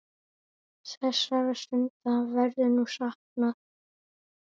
Þessara stunda verður nú saknað.